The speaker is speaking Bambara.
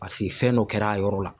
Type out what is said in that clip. Paseke fɛn dɔ kɛra a yɔrɔ la.